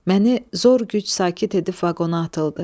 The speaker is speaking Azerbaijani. Məni zor güc sakit edib vaqona atıldı.